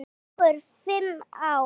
Fjögur, fimm ár.